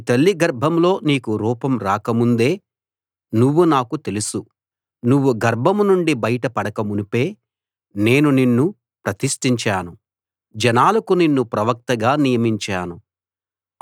నీ తల్లి గర్భంలో నీకు రూపం రాక ముందే నువ్వు నాకు తెలుసు నువ్వు గర్భం నుండి బయట పడక మునుపే నేను నిన్ను ప్రతిష్ఠించాను జనాలకు నిన్ను ప్రవక్తగా నియమించాను